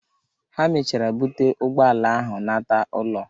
Ha mechara bute ụgbọala ahụ nata ụlọ.